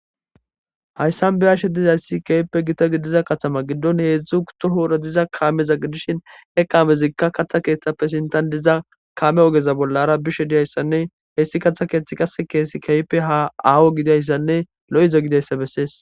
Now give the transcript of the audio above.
hayssan beyashe dizayssi kehipe gita gidiza katama giddon heedzdzu utohoora diza kaameza gidishin eqaamezikka kaththa keeththappe sintan diza kame ogeza bollara bishe diyayssanne heessi katha keeththi qase keesi keyipe ha aawo gidayssanne lo7iza gidayssa bessees